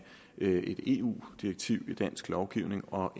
et eu direktiv i dansk lovgivning og